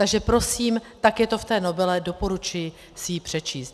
Takže prosím, tak je to v té novele, doporučuji si ji přečíst.